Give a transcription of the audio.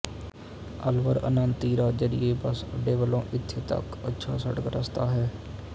ਅਲਵਰ ਅੰਨਤੱੀਰਾਜਯੀਰਏ ਬਸ ਅੱਡੇ ਵਲੋਂ ਇੱਥੇ ਤੱਕ ਅੱਛਾ ਸੜਕ ਰਸਤਾ ਹੈ